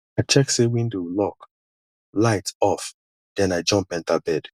i check say window lock light off then i jump enter bed